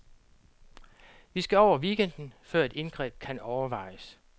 Vi skal over weekenden, før et indgreb kan overvejes.